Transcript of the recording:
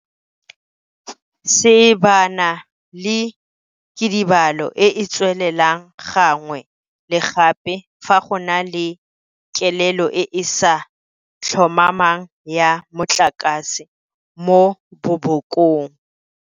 Seebana ke kidibalo e e tswelelang gangwe le gape fa go na le kelelo e e sa tlhomamang ya motlakase mo bobokong.